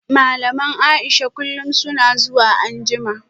Malaman Aisha kullum suna zuwa anjima